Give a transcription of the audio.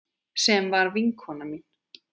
Sem var vinkona mín.